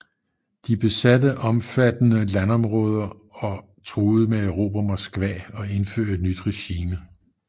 De besatte omfattende landområder og truede med at erobre Moskva og indføre et nyt regime